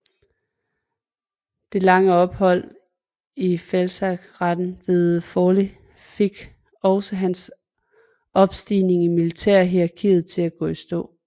Det lange ophold i feltlazarettet ved Forli fik også hans opstigning i militærhierarkiet til at gå i stå